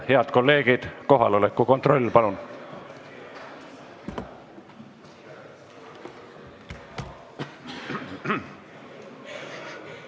Head kolleegid, teeme palun kohaloleku kontrolli!